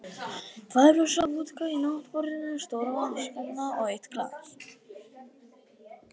Tvær flöskur af vodka í náttborðinu, stór vatnskanna og eitt glas.